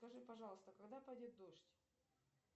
скажи пожалуйста когда пойдет дождь